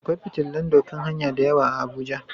Akwai fitillan doƙan hanya da yawa a abuja.